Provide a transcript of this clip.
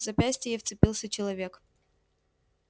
в запястье ей вцепился человек